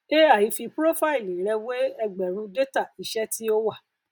ai fi prófáìlì rẹ wé ẹgbẹrún détà iṣẹ tí ó wà